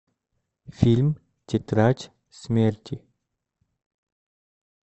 фильм тетрадь смерти